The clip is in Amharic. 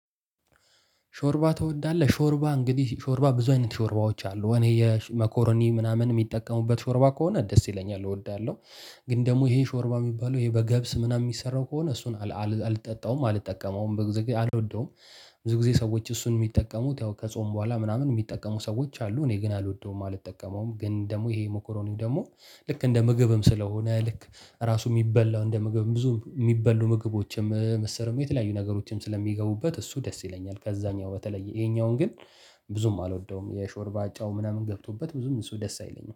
ሾርባ ትወዳለህ ሾርባ እንግዲህ ሾርባ ብዙ አይነት ሾርባዎች አሉ እኔ የመኮረኒ ምናምን የሚጠቀሙበት ሾርባ ከሆነ ደስ ይለኛል እወዳለሁ። ግን ደግሞ ይሄ ሾርባ የሚባለው ይሄ በገብስ ምናምን የሚሰራው ከሆነ እሱን አልጠጣውም አልጠቀመውም ብዙ ጊዜ አልወደውም። ብዙ ጊዜ ሰዎች እሱን የሚጠቀሙት ያው ከጾም በኋላ ምናምን የሚጠቀሙ ሰዎች አሉ። እኔ ግን አልወደውም አልጠቀመውም። ግን ደግሞ ይሄ ሞኮሮኒ ደግሞ ልክ እንደ ምግብም ስለሆነ ልክ ራሱ የሚበላው እንደ ምግብ ብዙ የሚበሉ ምግቦችም ምስርም የተለያዩ ነገሮችም ስለሚገቡበት እሱ ደስ ይለኛል። ከዛኛው በተለየ ይሄኛውን ግን ብዙም አልወደውም። የሾርባ ጨው ምናምን ገብቶበት ብዙም እሱ ደስ አይለኝም